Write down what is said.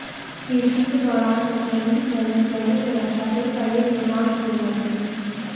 पेशी के दौरान कचहरी परिसर में सुरक्षा के कड़े इंतजाम किए गए थे